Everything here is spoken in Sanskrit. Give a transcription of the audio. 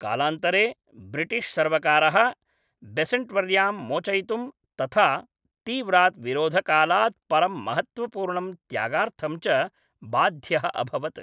कालान्तरे ब्रिटिश्सर्वकारः बेसन्ट्वर्यां मोचयितुं तथा तीव्रात् विरोधकालात् परं महत्त्वपूर्णं त्यागार्थं च बाध्यः अभवत्।